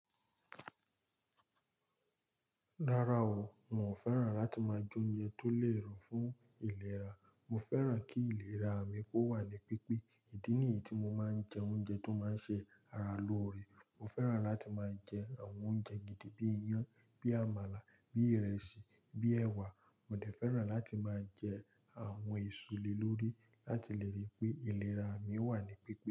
Rárá o, n o féràn láti máa jẹ oúnjẹ tó le ro fún ìlera. Mo féràn kí ìlera mi kó wà ní pípé. Èyí ni èyí tí mo máa ń jẹ oúnjẹ tó máa ń ṣe ara lóore. Mo féràn láti máa jẹ àwọn oúnjẹ gidi bí i iyán, bí i àmàlà, bí i ìrẹsì, bíi èwà. Mo dẹ̀ féràn láti máa jẹ àwọn èso lé lórí láti lè rí pé ìlera mi wà ní pípé.